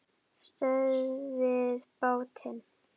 STÖÐVIÐ BÁTINN!